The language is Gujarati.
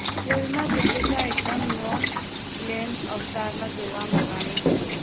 ફિલ્મમાં દીપિકા એકદમ નોન ગ્લેમ અવતારમાં જોવા મળવાની છે